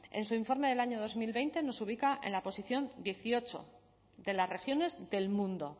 en su informe del año dos mil veinte nos ubica en la posición dieciocho de las regiones del mundo